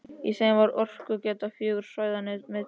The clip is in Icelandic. Í þeim var orkugeta fjögurra svæða metin.